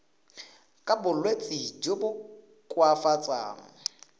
ka bolwetsi jo bo koafatsang